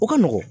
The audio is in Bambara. O ka nɔgɔn